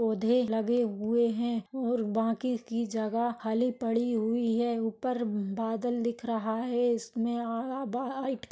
पौदे लगे हुए है और बाकी की जगा खाली पड़ी हुई है उपर बादल दिख रहा है इसमे --